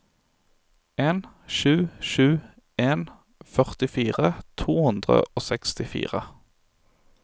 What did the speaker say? en sju sju en førtifire to hundre og sekstifire